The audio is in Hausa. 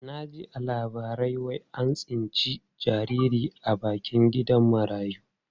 Na ji a labarai wai an tsinci jariri a bakin gidan marayu.